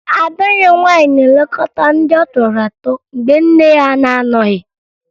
Ada ya nwaanyị na-elekọta ndị ọ tọrọ atọ mgbe nne ya na-anọghị